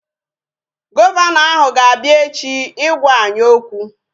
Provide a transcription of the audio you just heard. Gọvanọ ahụ ga-abia echi ịgwa anyị okwu